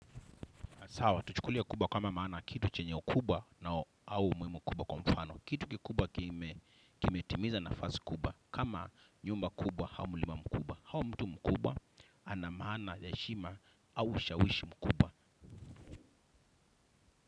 Sawa, tuchukulie kubwa kama maana kitu chenye ukubwa na au umuhimu kubwa kwa mfano kitu kikubwa kime kimetimiza nafasi kubwa kama nyumba kubwa, au mulima mkubwa au mtu mkubwa, ana maana ya heshima, au ushawishi mkubwa.